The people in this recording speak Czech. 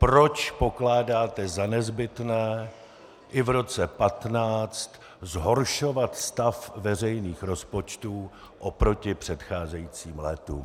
Proč pokládáte za nezbytné i v roce 2015 zhoršovat stav veřejných rozpočtů oproti předcházejícím letům?